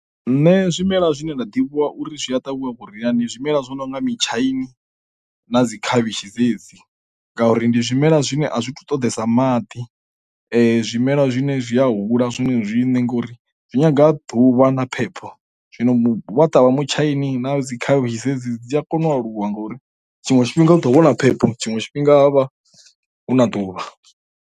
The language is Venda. Nṋe zwimela zwine nda ḓivha uri zwi a ṱavhiwa vhuria ndi zwimela zwo nonga mutshaini na dzi khavhishi dzedzi ngauri ndi zwimela zwine a zwithu ṱoḓesa maḓi zwimelwa zwine zwi a hula zwine zwine ngori zwi nyanga a ḓuvha na phepho, zwino vha ṱavha mutshaini na dzi khavhishi dzedzi dzi a kona u aluwa ngauri tshiṅwe tshifhinga u ḓo vhona phepho tshiṅwe tshifhinga huvha hu na ḓuvha.